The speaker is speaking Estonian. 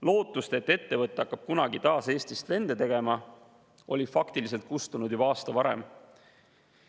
Lootus, et ettevõte hakkab kunagi taas Eestist lende tegema, oli faktiliselt kustunud juba aasta varem.